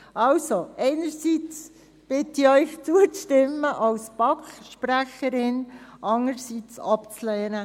Also: Einerseits bitte ich Sie als BaK-Sprecherin, zuzustimmen und andererseits als SP-Sprecherin abzulehnen.